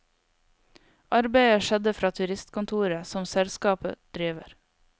Arbeidet skjedde fra turistkontoret som selskapet driver.